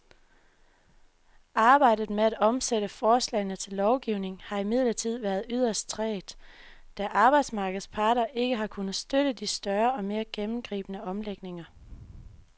Arbejdet med at omsætte forslagene til lovgivning har imidlertid været yderst trægt, da arbejdsmarkedets parter ikke har kunnet støtte de større og mere gennemgribende omlægninger.